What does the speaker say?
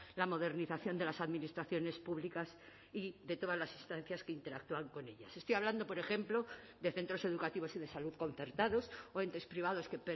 la modernización de las administraciones públicas y de todas las instancias que interactúan con ellas estoy hablando por ejemplo de centros educativos y de salud concertados o entes privados que